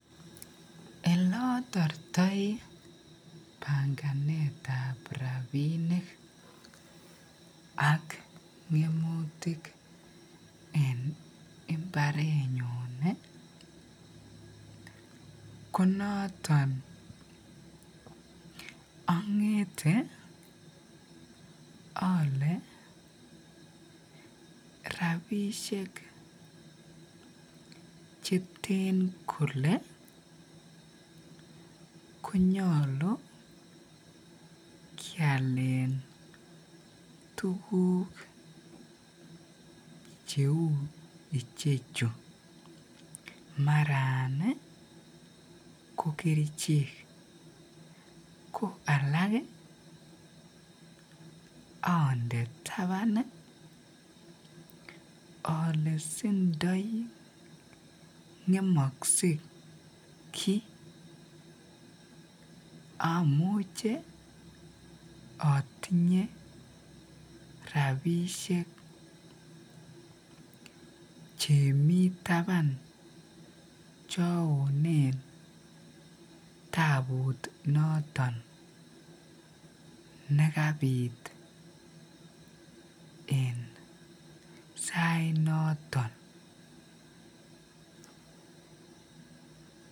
Elotortoi banganetab rabinik ak minutik en imbarenyun konoton ongete alee rabishek cheten kolee konyolu kialen tukuk cheuu ichechu maran ko kerichek ko alaak ande taban olee sindo ngemokse amuche otinye rabishek chemii taban chaonen tabunoton nekabit en sainoton.